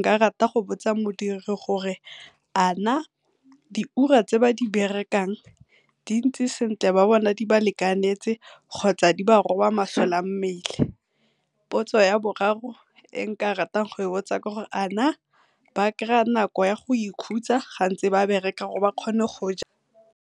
nka rata go botsa modiri gore a na diura tse ba di berekang di ntse sentle ba bona di ba lekanetse kgotsa di ba roba masole a mmele? Potso ya boraro e nka ratang go e botsa ke gore a na ba nako ya go ikhutsa ga bantse ba bereka gore ba kgone go ja.